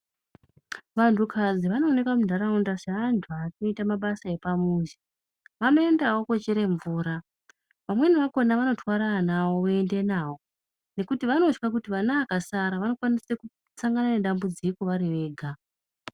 Vantukadzi vanoonekwa muntaraunda seantu anoita mabasa epamuzi. Vanoendawo koochere mvura, vamweni vakhona vanotwara ana avo voende navo, nekuti vanotya kuti vana vakasara, vanokwanise kusangana nedambudziko vari vega.